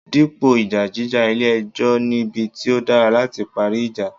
Dípò ìjà jíjà, ilé ẹjọ́ nibi tí ó dára láti parí ìjà.